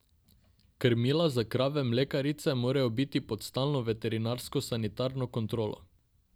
Krmila za krave mlekarice morajo biti pod stalno veterinarsko sanitarno kontrolo.